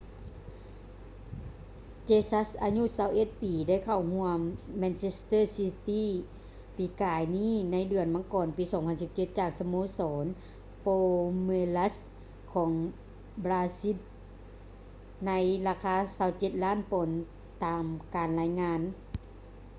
jesus ອາຍຸ 21 ປີໄດ້ເຂົ້າຮ່ວມ manchester city ປີກາຍນີ້ໃນເດືອນມັງກອນ ປີ 2017 ຈາກສະໂມສອນ palmeiras ຂອງບຣາຊິນໃນລາຄາ 27 ລ້ານປອນຕາມການລາຍງານ